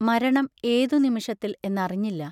മരണം ഏതു നിമിഷത്തിൽ എന്നറിഞ്ഞില്ല.